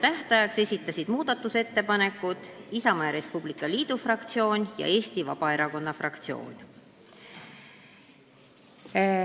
Tähtajaks esitasid muudatusettepanekud Isamaa ja Res Publica Liidu fraktsioon ja Eesti Vabaerakonna fraktsioon.